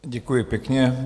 Děkuji pěkně.